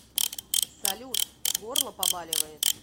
салют горло побаливает